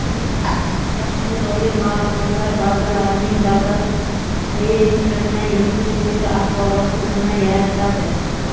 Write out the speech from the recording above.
Shaxsga doir maʼlumotlar bazalarining davlat reyestrini yuritish bo‘yicha axborot tizimi yaratiladi.